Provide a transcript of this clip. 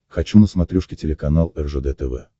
хочу на смотрешке телеканал ржд тв